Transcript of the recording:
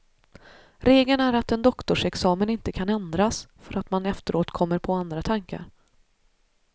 Regeln är att en doktorsexamen inte kan ändras för att man efteråt kommer på andra tankar.